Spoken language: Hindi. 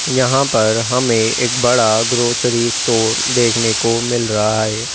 यहां पर हमें एक बड़ा ग्रॉसरी स्टोर देखने को मिल रहा है।